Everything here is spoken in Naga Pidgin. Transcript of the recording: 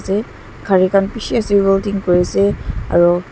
kari kan bishi ase welding kuri ase aro.